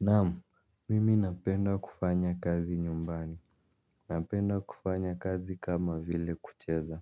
Naam mimi napenda kufanya kazi nyumbani. Napenda kufanya kazi kama vile kucheza.